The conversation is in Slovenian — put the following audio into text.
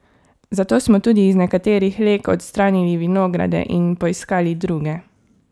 Zato smo tudi iz nekaterih leg odstranili vinograde in poiskali druge.